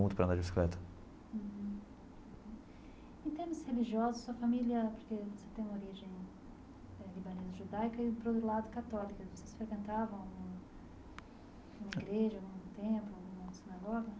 para andar de bicicleta. Em termos religiosos sua família, porque você tem origem eh libanesa judaica e para o lado católico vocês frequentavam um uma igreja, um templo uma sinagoga?